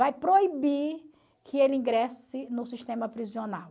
Vai proibir que ele ingresse no sistema prisional.